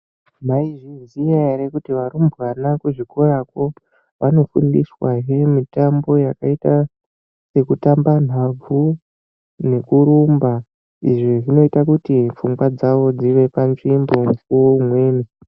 Maizviziya kuti varumbwana kuzvikorakwo vanofundiswa mutambo yakaita sekutamba nhabvu nekurumba izvi kuti fungwa dzavo dzive panzvimbo mukuwo umweni .